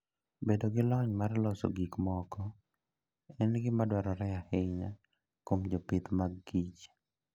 Bedo gi lony mar loso gik moko en gima dwarore ahinya kuom jopith magkich.